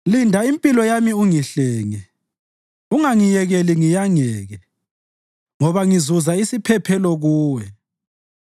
Linda impilo yami ungihlenge; ungangiyekeli ngiyangeke, ngoba ngizuza isiphephelo Kuwe.